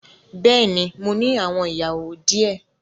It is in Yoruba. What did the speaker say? Bẹ́ẹ̀ni mo ní àwọn ìyàwó di ẹ